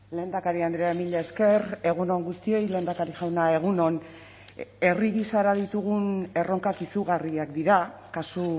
lehendakari andrea mila esker egun on guztioi lehendakari jauna egun on herri gisara ditugun erronkak izugarriak dira kasu